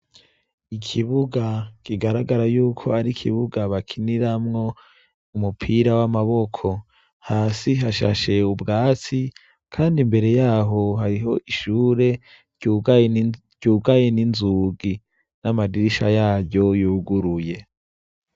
Ikibuga kigaragara yuko ar'ikibuga bakiniramwo umupira w'amaboko. Hasi hashashe ubwatsi, kandi imbere y'aho, hariho ishure ryugaye n'inzugi n'amadirisha yaryo yuguruye.